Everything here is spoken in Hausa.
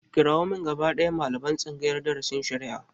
Kirawo min gaba ɗaya malaman tsangayar darasin shari'a!